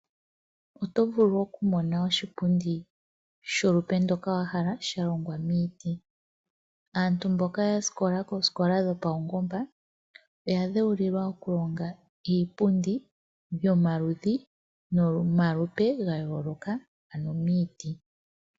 Oto vulu okumona oshipundi sholupe ndoka wahala shalongwa miiti, aantu mboka yasikola koosikola dhopaungomba oya dhewulilwa okulonga iipundi yomaludhi nomalupe ga yooloka ano miiti.